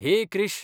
हेय क्रिश!